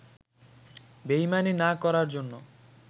বেইমানি না করার জন্য